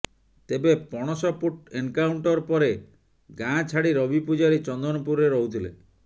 ତେବେ ପଣସପୁଟ ଏନକାଉଂଟର ପରେ ଗାଁଛାଡି ରବି ପୂଜାରୀ ଚନ୍ଦନପୁରରେ ରହୁଥିଲେ